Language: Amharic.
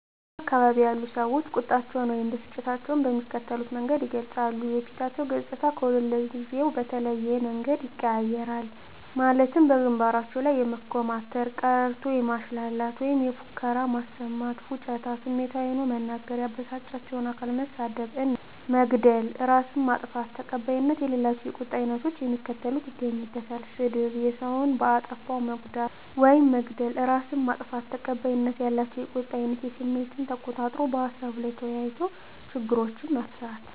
በእኛ አካባቢ ያሉ ሰዎች ቁጣቸውን ወይም ብስጭታቸውን በሚከተሉት መንገድ ይገልጻሉ:- የፊታቸው ገፅታ ከሁልጊዜው በተለየ መንገድ ይቀያየራል ማለትም ከግንባራቸው ላይ የመኮማተር፤ ቀረርቶ ማሽላላት ወይም ፉከራ ማሰማት፤ ፉጭታ፤ ስሜታዊ ሆኖ መናገር፤ ያበሳጫቸውን አካል መሳደብ እና መግደል፤ እራስን ማጥፋት። ተቀባይነት ከሌላቸው የቁጣ አይነቶች የሚከተሉት ይገኙበታል -ስድብ፤ ሰውን በአጠፋው መጉዳት ውይም መግደል፤ እራስን ማጥፋት። ተቀባይነት ያላቸው የቁጣ አይነት ስሜትን ተቆጣጥሮ በሀሳቡ ላይ ተወያይቶ ችግርን መፍታት።